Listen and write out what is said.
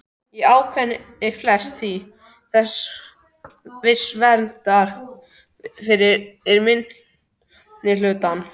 Í ákvæðinu felst því viss vernd fyrir minnihlutann.